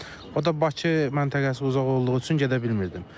O da Bakı məntəqəsi uzaq olduğu üçün gedə bilmirdim.